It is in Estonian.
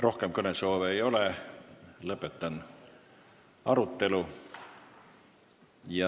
Rohkem kõnesoove ei ole, lõpetan arutelu.